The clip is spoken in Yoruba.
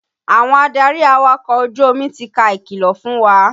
Àwọn adarí awakọ̀ ojú omi ti ka ìkìlọ̀ fún wa.